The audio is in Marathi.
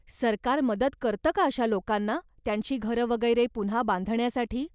सरकार मदत करतं का अशा लोकांना, त्यांची घरं वगैरे पुन्हा बांधण्यासाठी?